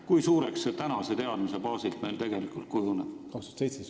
Kui suureks see meil tegelikult kujuneb?